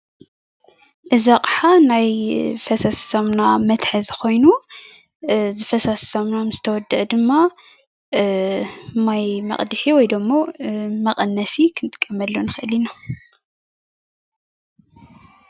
እዚ ኣቕሓ ናይ ፈሳሲ ሳሙና መትሓዚ ኾይኑ እዚ ፈሳሲ ሳሙና ምስተወደአ ድማ ማይ መቕድሒ ወይ ድማ መቐነሲ ክንጥቀመሉ ንኽእል ኢና፡፡